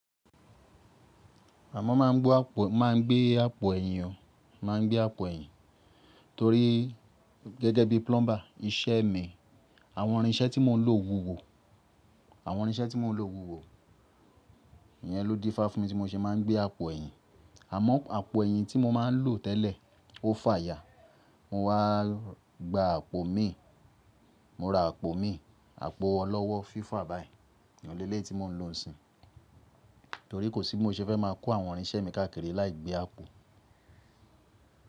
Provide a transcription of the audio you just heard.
Mọ́ má n gbé àpò ẹ̀yìn, torí gẹ́gẹ́ bí plumber, iṣẹ́ mi, àwọn irinṣẹ́ tí mò ń lò wúwo. Àwọ́n irinṣẹ́ tí mò ń lò wúwo, ìyẹn ló dífá fún mi tí mó ṣe má n gbé àpò ẹ̀yìn. Àmọ́ àpò ẹ̀yìn tí mo má ń lò tẹ́lẹ̀ ó fàya. Mo wá gba àpò mi, mo ra àpò mi, àpò ọlọ́wọ́ FIFA báyìí oun leleyi tí mò ń lò ó nisin. Torí kò sí bi mó ṣe fẹ́ máa kó àwọn irinṣẹ́ mi káàkiri láì gbé àpò.